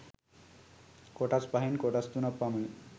කොටස් පහෙන් කොටස් තුනක් පමණි.